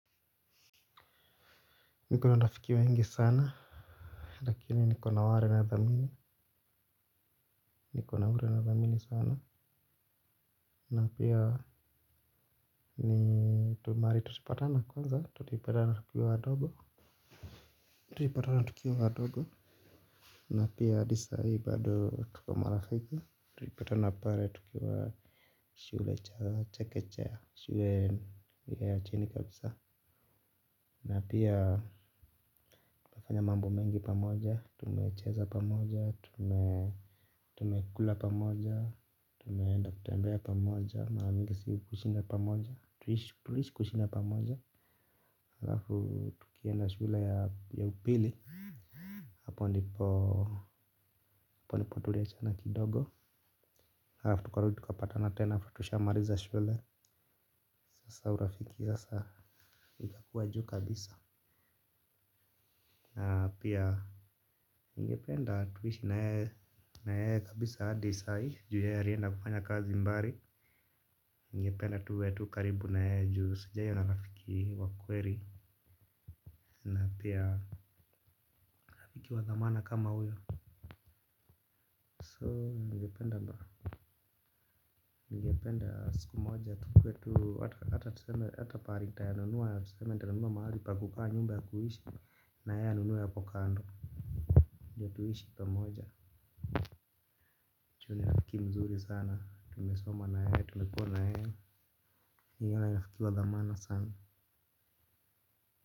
Niko na rafiki wengi sana. Lakini niko na ware nathamini. Niko na wari nadhamini sana. Napia ni tu mahali tulipatana kwanza tulipatana tukiwa wadogo. Tulipatana tukiwa wadogo. Na pia hadi sai bado tuko marafiki. Tulipatana pale tukiwa shule cha chekechea. Shule ya chini kabisa. Na pia tukafanya mambo mengi pamoja. Tumecheza pamoja. Tumekula pamoja. Tumeenda kutembea pamoja. Maramingi si hushinda pamoja. Tuliishi kushinda pamoja alafu tukienda shule ya upili. Hapo ndipo palipotulia sana kidogo alafu tukarudi tukapatana tena after tushamaliza shule. Sasa urafiki sasa. Ikakua juu kabisa. Na pia ningependa tuishi naye kabisa hadi sa hii juu yeye alienda kufanya kazi mbali ningependa tuwe tu karibu naye juu sijaiona rafiki wa kweli. Na pia ikiwa na maana kama huyo So ningependa mba ningependa siku moja tukuwe tu hata pahali nitanunua ya tuseme hata pahali nitanunua mahali pa kupaa nyumba ya kuishi na yeye anunue hapo kando ndo tuishi pamoja juu ni rafiki mzuri sana. Tumesoma naye tumekua naye ni rafiki wa dhamana sana.